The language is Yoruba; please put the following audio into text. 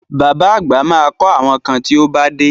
Bàbá àgbà ma kọ́ àwọn kan tí ó bá dé